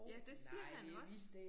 Ja det siger man også